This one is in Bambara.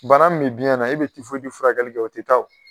Bana min bɛ biɲɛ na i bɛ tifoyidi furakɛli kɛ o tɛ taa o